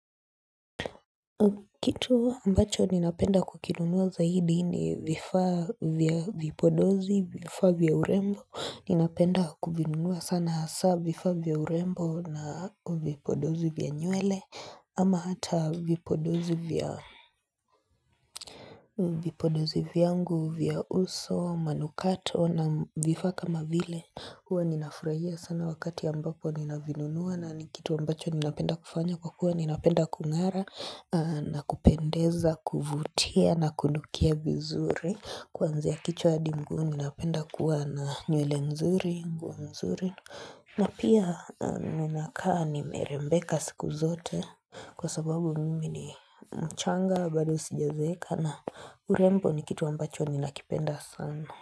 Kitu ambacho ninapenda kukinunua zaidi ni vifaa vya vipodozi, vifaa vya urembo, ninapenda kuvinunua sana hasaa vifaa vya urembo na vipodozi vya nywele ama hata vipodozi vya vipodozi vyangu vya uso, manukato na vifaa kama vile. Huwa ninafurahia sana wakati ambapo nina vinunua na ni kitu ambacho ninapenda kufanya kwa kuwa ninapenda kung'ara na kupendeza, kuvutia na kunukia vizuri kwanzia ya kichwa adi miguu ninapenda kuwa na nywele mzuri, nguo nzuri na pia ninakaa ni merembeka siku zote kwa sababu mimi ni mchanga bado sijazeeka na urembo ni kitu ambacho nina kipenda sana.